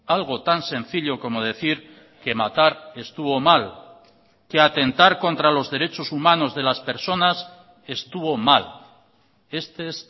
algo tan sencillo como decir que matar estuvo mal que atentar contra los derechos humanos de las personas estuvo mal este es